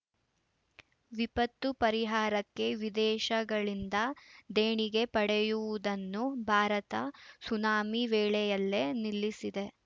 ವಿಪತ್ತು ಪರಿಹಾರಕ್ಕೆ ವಿದೇಶಗಳಿಂದ ದೇಣಿಗೆ ಪಡೆಯುವುದನ್ನು ಭಾರತ ಸುನಾಮಿ ವೇಳೆಯಲ್ಲೇ ನಿಲ್ಲಿಸಿದೆ